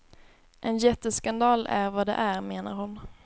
En jätteskandal är vad det är, menar hon.